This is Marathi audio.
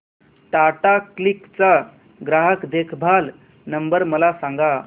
टाटा क्लिक चा ग्राहक देखभाल नंबर मला सांगा